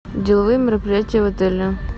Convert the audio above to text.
деловые мероприятия в отеле